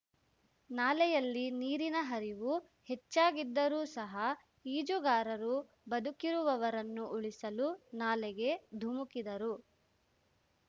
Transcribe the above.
ನಾಲೆಯಲ್ಲಿ ನೀರಿನ ಹರಿವು ಹೆಚ್ಚಾಗಿದ್ದರೂ ಸಹ ಈಜುಗಾರರು ಬದುಕಿರುವವರನ್ನು ಉಳಿಸಲು ನಾಲೆಗೆ ಧುಮುಕಿದರು